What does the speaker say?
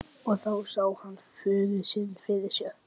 Og þá sá hann föður sinn fyrir sér.